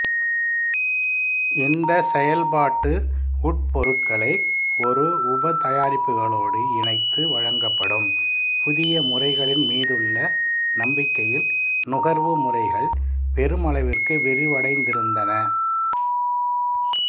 இந்த செயல்பாட்டு உட்பொருட்களை ஒரு உபதயாரிப்புகளோடு இணைத்து வழங்கப்படும் புதிய முறைகளின் மீதுள்ள நம்பிக்கையில் நுகர்வு முறைகள் பெருமளவிற்கு விரிவடைந்திருந்தன